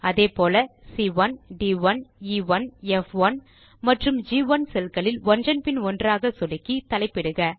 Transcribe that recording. அதே போல C one D one E one F one மற்றும் ஜி1 செல் களில் ஒன்றன் பின் ஒன்றாக சொடுக்கி தலைப்பிடுக